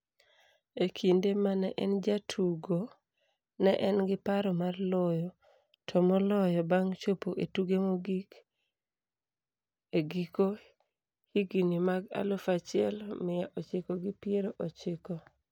E kinde ma ne en jatugo, ne en gi paro mar loyo, to moloyo bang' chopo e tuke mogik e giko higini mag aluf achiel mia ochiko gi piero ochiko.